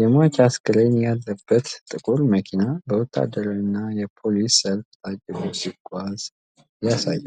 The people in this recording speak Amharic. የሟች አስክሬን ያለበት ጥቁር መኪና በወታደራዊ እና የፖሊስ ሰልፍ ታጅቦ ሲጓዝ ያሳያል።